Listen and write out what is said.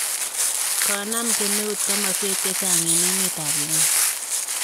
Konam kemeut komoswek chechang' en emet ab Uganda.